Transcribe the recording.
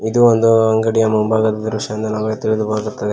ಇದು ಒಂದು ಅಂಗಡಿಯ ಮುಂಭಾಗದ ದೃಶ್ಯ ಎಂದು ನಮಗೆ ತಿಳಿದು ಬರುತ್ತದೆ.